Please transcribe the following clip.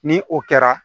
Ni o kɛra